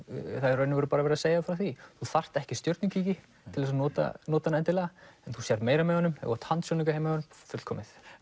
það er í rauninni verið að segja frá því þú þarft ekki stjörnukíki endilega en þú sérð meira með honum ef þú átt handsjónauka heima hjá þér fullkomið